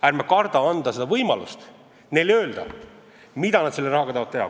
Ärme kardame anda neile võimalust öelda, mida nad selle rahaga teha tahavad.